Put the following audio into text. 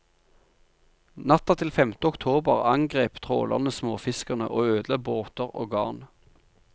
Natta til femte oktober angrep trålerne småfiskerne og ødela båter og garn.